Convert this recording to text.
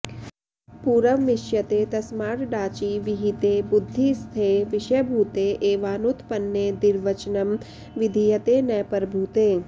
पूरवमिष्यते तस्माड्डाचि विहिते बुद्धिस्थे विषयभूते एवानुतपन्ने द्विर्वचनं विधीयते न परभूते